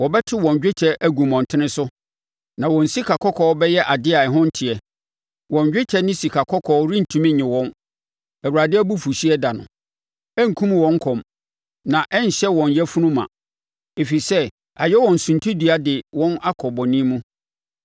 “ ‘Wɔbɛto wɔn dwetɛ agu mmɔntene so, na wɔn sikakɔkɔɔ bɛyɛ adeɛ a ɛho nteɛ. Wɔn dwetɛ ne sikakɔkɔɔ rentumi nnye wɔn Awurade abufuhyeɛ ɛda no. Ɛrenkum wɔn kɔm na ɛrenhyɛ wɔn yafunu ma, ɛfiri sɛ ayɛ wɔn suntidua de wɔn akɔ bɔne mu.